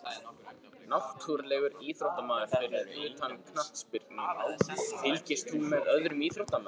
Náttúrulegur íþróttamaður Fyrir utan knattspyrnu, fylgist þú með öðrum íþróttum?